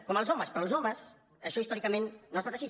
com els homes però en els homes això històricament no ha estat així